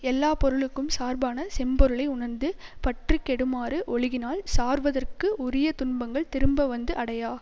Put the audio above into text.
எல்லா பொருளுக்கும் சார்பான செம்பொருளை உணர்ந்து பற்று கெடுமாறு ஒழுகினால் சார்வதற்க்கு உரிய துன்பங்கள் திரும்ப வந்து அடையா